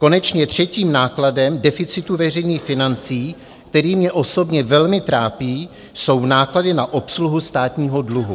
Konečně třetím nákladem deficitu veřejných financí, který mě osobně velmi trápí, jsou náklady na obsluhu státního dluhu.